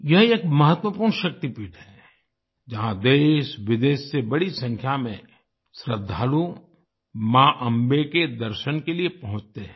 यह एक महत्वपूर्ण शक्तिपीठ है जहां देशविदेश से बड़ी संख्या में श्रद्धालु मां अंबे के दर्शन के लिए पहुंचते हैं